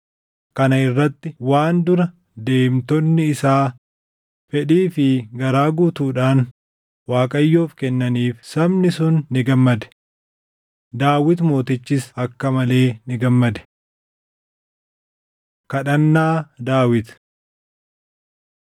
Kana irratti waan dura deemtonni isaa fedhii fi garaa guutuudhaan Waaqayyoof kennaniif sabni sun ni gammade. Daawit mootichis akka malee ni gammade. Kadhannaa Daawit